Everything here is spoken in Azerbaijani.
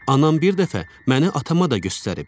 Anam bir dəfə məni atama da göstərib.